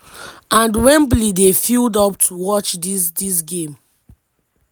and wembley dey filled up to watch dis dis game.